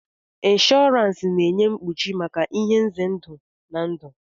Inshọransi ga-enye mkpuchi maka ihe nze ndụ na ndụ.